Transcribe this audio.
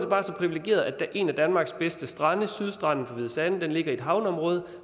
en af danmarks bedste strande sydstranden ved hvide sande ligger i et havneområde